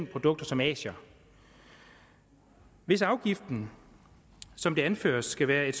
produkter som asier hvis afgiften som det anføres skal være et